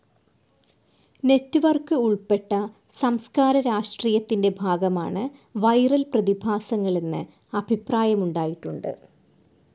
Network ഉൾപ്പെട്ട സംസ്ക്കാര രാഷ്ട്രീയത്തിൻറെ ഭാഗമാണ് വിരൽ പ്രതിഭാസങ്ങളെന്ന് അഭിപ്രായമുണ്ടായിട്ടുണ്ട്.